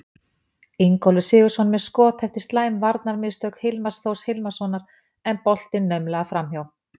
Ingólfur Sigurðsson með skot eftir slæm varnarmistök Hilmars Þórs Hilmarsson en boltinn naumlega framhjá.